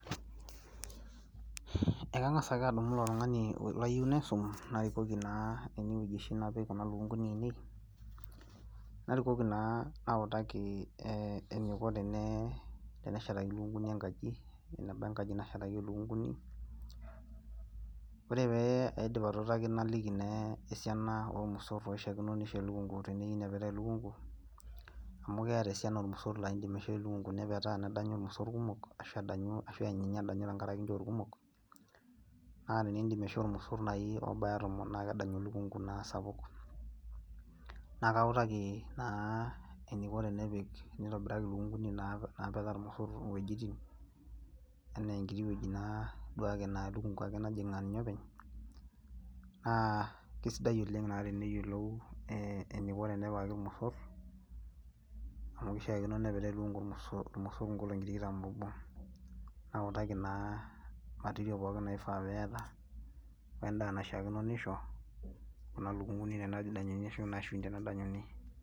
Ekangas ake adumu ilo tungani layieu naisum narikoki naa enewueji oshi napik ilukunguni ainei narikoki naa nautaki eniko teneshetakini ilukunguni engaji Ena engaji nashetaki ilukunguni, ore paidip atuutaki naliki naa esiana olmosor oishakino nisho elukungu teneyieu nepetaa elukungu amu keeta esiana olmosor laa in'dim aishoo elukungu nepetaa nedanyu ilmosor kumok ashu edanyu ashu eany edanyu tengaraki kumok naa ninye in'dim aishoo ilmosor oobaya tomon naa kedanyu elukungu naa sapuk Naa kautaki naa eniko tenepik, eniko enitobiraki taa ilukunguni mbaka ilmosor enee engiti wueji naa duake naa elukungu ake najing' aa ninye openy Naa kesidai oleng naa teneyiolou eniko enepikaki ilmosor amu kishaakino nepik kulo mosor ingolongi tikitam obo nautaki naa material pookin naifaa peeta wendaa naishiakino nisho kuna lukunguni tenedanyunyi